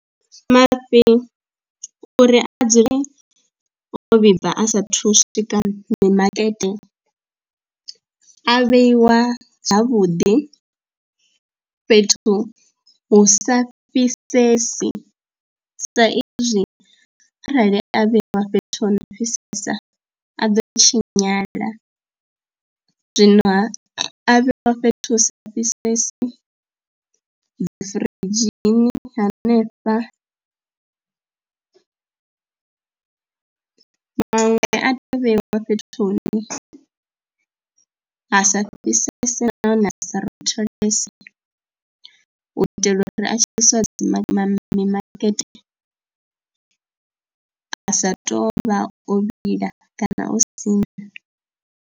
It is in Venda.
Mafhi uri a dzule wo vhibva a saathu u swika mimakete a vheiwa havhuḓi fhethu hu sa fhisesi sa izwi arali a vhewa fhethu ho no fhisesa a ḓo i tshinyala, zwino a vhewa fhethu hu sa fhisesi dzi firidzhini hanefha, maṅwe a teya u vheyiwa fhethu hune ha sa fhisese nahone sa rotholese u itela uri a tshi isiwa mimakete a sa tou vha o vhila kana o siṋa.